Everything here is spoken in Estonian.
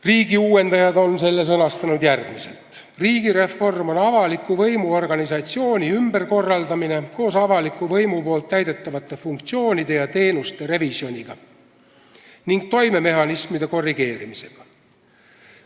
Riigiuuendajad on selle sõnastanud järgmiselt: "Riigireform on avaliku võimu organisatsiooni ümberkorraldamine koos avaliku võimu poolt täidetavate funktsioonide ja teenuste revisjoniga ning toimemehhanismide korrigeerimisega.